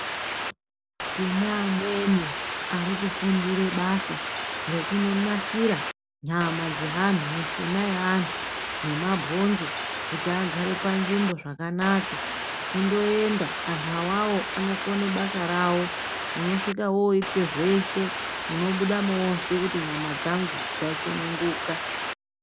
Tine amweni ari kufundire basa rekunonasira nyama dzaanhu mushuna yaanhu nemabhonzo kuti agare panzvimbo zvakanaka kundoenda anhu awawo anokone basa rawo unosvika woitwe zveshe unobudamo wozwe kuti nyama dzangu dzasununguka.